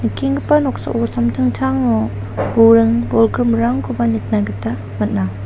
nikenggipa noksao samtangtango buring-bolgrimrangkoba nikna gita man·a.